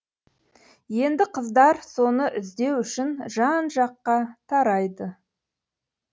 енді қыздар соны іздеу үшін жан жаққа тарайды